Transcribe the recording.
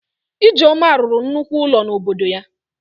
Ijeoma rụrụ nnukwu ụlọ n'obodo ya